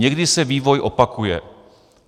Někdy se vývoj opakuje."